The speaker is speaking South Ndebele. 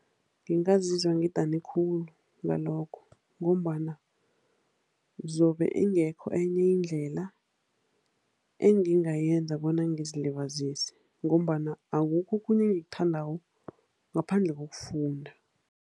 Ngingazizwa ngidane khulu ngalokho ngombana zobe ingekho enye indlela engingayenza bona ngizilibazise ngombana akukho okhunye engikuthandako ngaphandle kokufunda.